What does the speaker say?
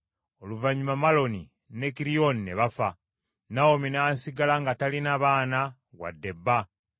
Oluvannyuma Maloni ne Kiriyoni ne bafa, Nawomi n’asigala nga talina baana wadde bba.